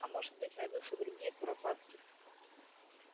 а может быть найдутся другие куропатки